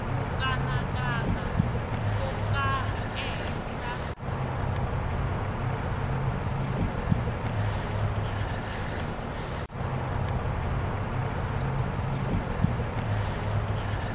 ku kanakana ko karhi ehenhla